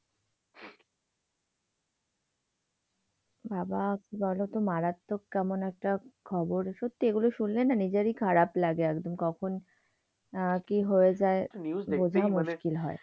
বাবা বলতো মারাত্মক কেমন একটা খবর সত্যিই এগুলো শুনলে নিজেরই খারাপ লাগে একদম। কখন আহ কি হয়ে যায় বোঝা মুশকিল হয়।